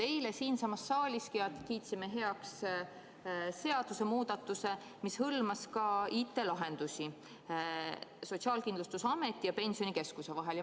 Eile siinsamas saalis kiitsime heaks seadusemuudatuse, mis hõlmas ka IT-lahendusi Sotsiaalkindlustusameti ja Pensionikeskuse vahel.